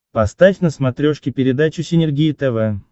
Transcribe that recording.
поставь на смотрешке передачу синергия тв